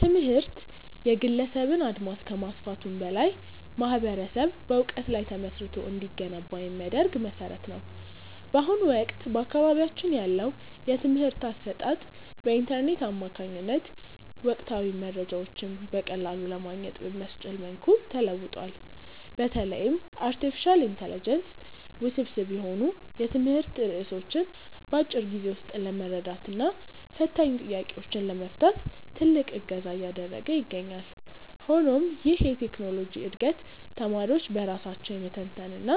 ትምህርት የግለሰብን አድማስ ከማስፋቱም በላይ ማኅበረሰብ በዕውቀት ላይ ተመስርቶ እንዲገነባ የሚያደርግ መሠረት ነው። በአሁኑ ወቅት በአካባቢያችን ያለው የትምህርት አሰጣጥ በኢንተርኔት አማካኝነት ወቅታዊ መረጃዎችን በቀላሉ ለማግኘት በሚያስችል መልኩ ተለውጧል። በተለይም አርቲፊሻል ኢንተለጀንስ ውስብስብ የሆኑ የትምህርት ርዕሶችን በአጭር ጊዜ ውስጥ ለመረዳትና ፈታኝ ጥያቄዎችን ለመፍታት ትልቅ እገዛ እያደረገ ይገኛል። ሆኖም ይህ የቴክኖሎጂ ዕድገት ተማሪዎች በራሳቸው የመተንተንና